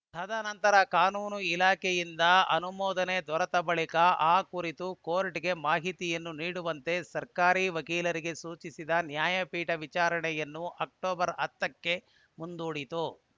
ತದನಂತರ ಕಾನೂನು ಇಲಾಖೆಯಿಂದ ಅನುಮೋದನೆ ದೊರೆತ ಬಳಿಕ ಆ ಕುರಿತು ಕೋರ್ಟ್‌ಗೆ ಮಾಹಿತಿಯನ್ನು ನೀಡುವಂತೆ ಸರ್ಕಾರಿ ವಕೀಲರಿಗೆ ಸೂಚಿಸಿದ ನ್ಯಾಯಪೀಠ ವಿಚಾರಣೆಯನ್ನು ಅಕ್ಟೋಬರ್ ಹತ್ತ ಕ್ಕೆ ಮುಂದೂಡಿತು